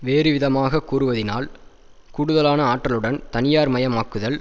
வேறுவிதமாக கூறுவதனால் கூடுதலான ஆற்றலுடன் தனியார்மயமாக்குதல்